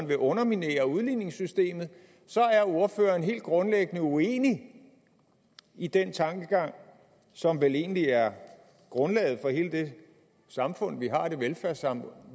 vil underminere udligningssystemet er han helt grundlæggende uenig i den tankegang som vel egentlig er grundlaget for hele det velfærdssamfund